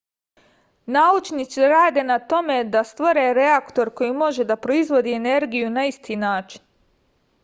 naučnici rade na tome da stvore reaktor koji može da proizvodi energiju na isti način